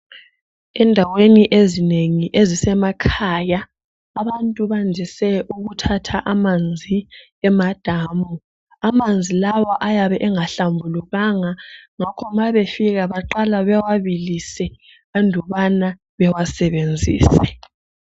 Endaweni ezinengi ezisemakhaya abantu bandise ukuthatha amanzi emadamu. Amanzi lawa ayabe engahlambulukanga ngakho ma befika baqala bewabilise andubana bewasebenzise.